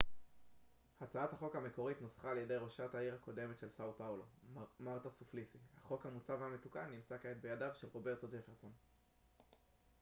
הצעת החוק המקורית נוסחה על ידי ראשת העיר הקודמת של סאו פאולו מרתה סופליסי החוק המוצע והמתוקן נמצא כעת בידיו של רוברטו ג'פרסון